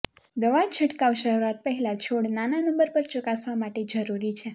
દવા છંટકાવ શરૂઆત પહેલાં છોડ નાના નંબર પર ચકાસવા માટે જરૂરી છે